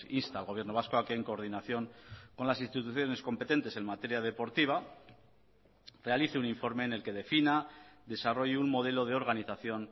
insta al gobierno vasco a que en coordinación con las instituciones competentes en materia deportiva realice un informe en el que defina desarrolle un modelo de organización